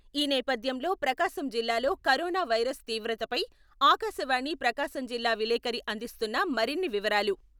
ఈ నేపథ్యంలో ప్రకాశం జిల్లాలో కరోనా వైరస్ తీవ్రతపై ఆకాశవాణి ప్రకాశం జిల్లా విలేకరి అందిస్తున్న మరిన్ని వివరాలు...